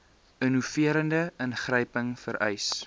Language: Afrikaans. innoverende ingryping vereis